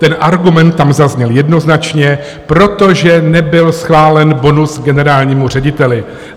Ten argument tam zazněl jednoznačně: protože nebyl schválen bonus generálnímu řediteli.